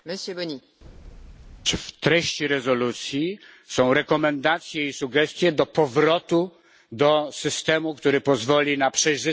W treści rezolucji są rekomendacje i sugestie dotyczące powrotu do systemu, który pozwoli na przejrzystość dokonywania wyborów.